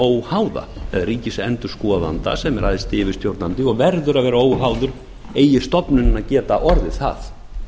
óháða eða ríkisendurskoðanda sem er æðsti yfirstjórnandi og verður að vera óháður eigi stofnunin að geta orðið það